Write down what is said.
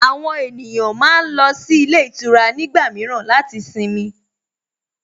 Àwọn ènìyàn máa ń lọ sí ilé ìtura nígbà mìíràn láti sinmi